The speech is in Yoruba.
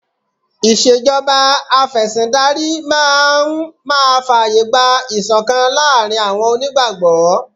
Ìṣèjọba Afẹ̀sìndarí máa fàyè gba ìṣọ̀kan láàárín àwọn onígbàgbọ́